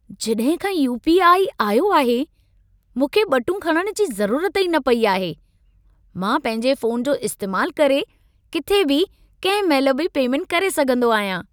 जॾहिं खां U, PI. आयो आहे, मूंखे ॿटूं खणण जी ज़रूरत न पई आहे। मां पंहिंजे फोन जो इस्तैमालु करे, किथे बि कंहिं महिल बि पेमेंट करे सघंदो आहियां।